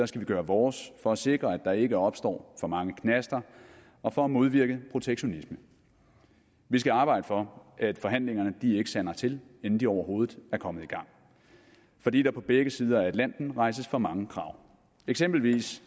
skal vi gøre vores for at sikre at der ikke opstår for mange knaster og for at modvirke protektionisme vi skal arbejde for at forhandlingerne ikke sander til inden de overhovedet er kommet i gang fordi der på begge sider af atlanten rejses for mange krav eksempelvis